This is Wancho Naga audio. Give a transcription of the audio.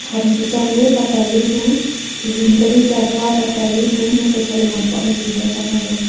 ham cechang ley tatali bu zing kali jagah tatali bu motho satlam hanpak ang zingka chang a eya a.